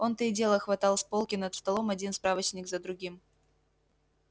он то и дело хватал с полки над столом один справочник за другим